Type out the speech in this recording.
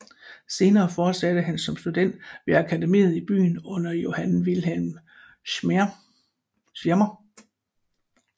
Senere fortsatte han som student ved akademiet i byen under Johann Wilhelm Schirmer